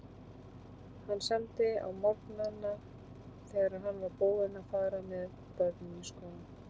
Hann samdi á morgnana þegar hann var búinn að fara með börnin í skólann.